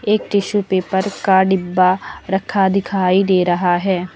एक tissue paper का डिब्बा रखा दिखाई दे रहा है।